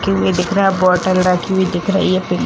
TV. दिख रहा है बोतल रखी हुई दिख रही है पिंक --